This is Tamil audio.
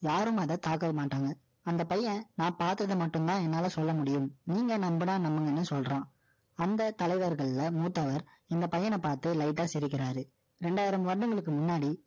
யாரும் அதை தாக்க மாட்டாங்க. அந்த பையன், நான் பார்த்ததை மட்டும்தான், என்னால சொல்ல முடியும். நீங்க நம்புனா, நம்புங்கன்னு சொல்றான். அந்த தலைவர்கள்ல, மூத்தவர், இந்த பையன பார்த்து, light ஆ சிரிக்கிறாரு இரண்டாயிரம் வருடங்களுக்கு முன்னாடி